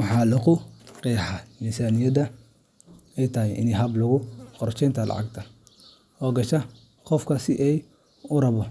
Waxaa lagu qeexaa in miisaaniyaddu tahay hab lagu qorsheeyo lacagta soo gasha qofka iyo sida uu u rabbo